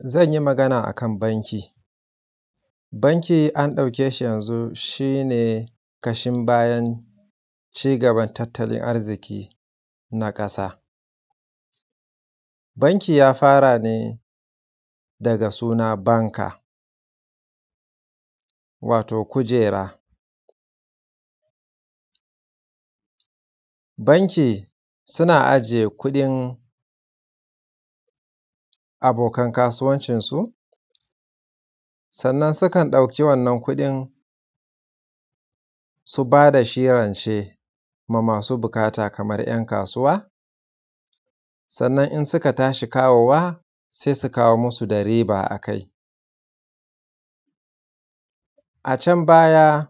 zan yi magana akan banki banki an ɗauke shi yanzun shine ƙashin bayan cigaban tattalin arziƙi na ƙasa banki ya fara ne daga suna banka wato kujera banki suna ajiye kuɗin abokan kasuwancin su sannan sukan ɗauki wannan kuɗin su bada shi rance ma masu buƙata kaman ‘yan kasuwa sannan in suka tashi kawowa sai su kawo musu da riba akai a can baya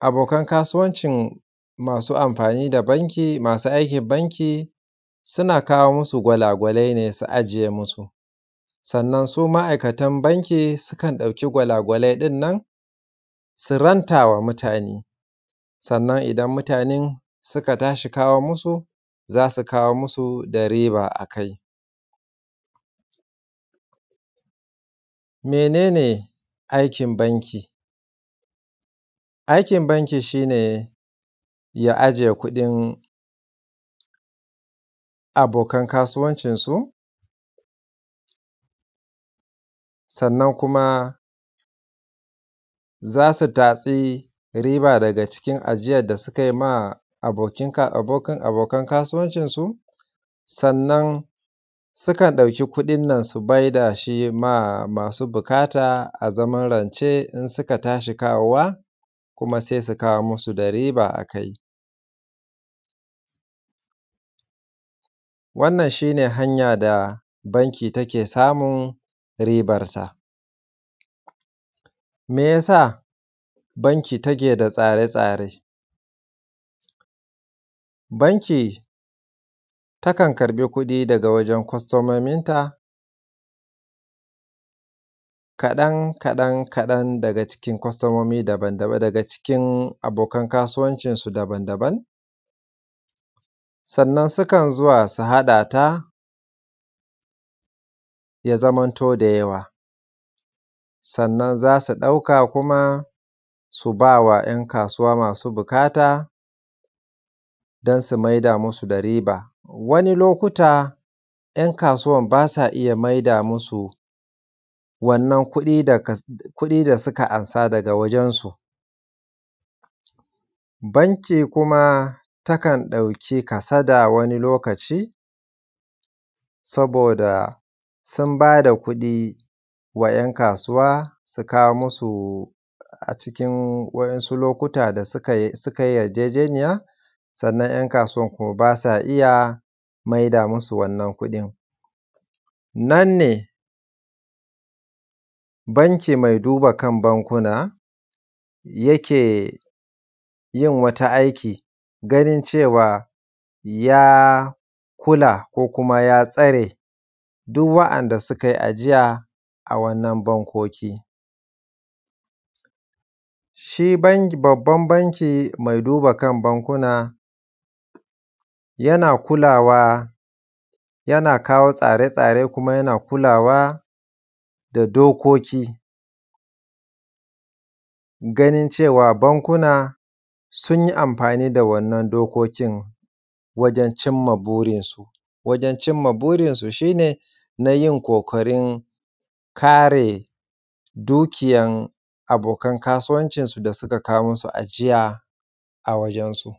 abokan kasuwancin masu amfani da banki masu aikin banki suna kawo musu gwalagwalai ne su ajiye musu sannan su ma’aikatan banki su kan ɗauki gwalagwalai ɗin nan su rantawa mutane sannan idan mutanen suka tashi kawo musu zasu kawo musu da riba akai menene aikin banki aikin banki shine ya aje kuɗin abokan kasuwancin su sannan kuma zasu tatsi riba daga cikin ajiyar da suka yi ma abokan kasuwancin su sannan sukan ɗauki kuɗin nan su maida shi ma masu buƙata a zaman rance in suka tashi kawowa kuma sai su kawo musu da riba a kai wannan shine hanyar da banki take samun ribar ta me yasa banki take da tsare-tsare banki ta kan karɓi kuɗi daga wajen kwastomomin ta kaɗan kaɗan kaɗan daga cikin kwastomomi daban-daban cikin abokan kasuwancin su daban-daban sannan sukan zuwa su haɗa ta ya zamanto da yawa sannan zasu ɗauka kuma su bawa ‘yan kasuwa masu buƙata don su maida musu da riba wani lokuta ‘yan kasuwar basu iya maida musu wannan kuɗi da suka amsa daga wajen su banki kuma ta kan ɗauki kasada wani lokaci saboda sun bada kuɗi ma ‘yan kasuwa su kawo musu a cikin wasu lokuta da su kai yarjejeniya sannan ‘yan kasuwar kuma basa iya maida musu wannan kuɗin nan ne banki mai duba kan bankuna yake yin wata aiki ganin cewa ya kula ko kuma ya tsare duk waɗanda sukai ajiya a wannan bankoki shi banki babban banki mai duba kan bankuna yana kulawa yana kawo tsare-tsare kuma yana kulawa da dokoki ganin cewa bankuna sun yi amfani da wannan dokokin wajen cimma burin su wajen cimma burin su shi ne nayin ƙoƙarin kare dukiyan abokan kasuwancin su da suka kawo musu ajiya a wajen su